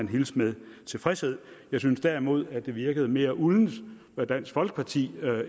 hilses med tilfredshed jeg synes derimod at det virkede mere uldent hvad dansk folkeparti